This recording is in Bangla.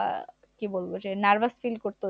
আহ কি বলবো যে nervous ফিল করতো